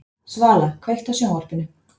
Svala, kveiktu á sjónvarpinu.